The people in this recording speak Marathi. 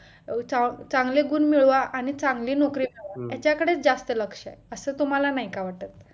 व चांगले गुण मिळवा आणि चांगली नोकरी मिळवा ह्याच्याकडे जास्त लक्ष आहे असं तुम्हाला नाहीका वाटत